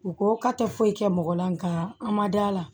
U ko k'a tɛ foyi kɛ mɔgɔ la nka a ma da la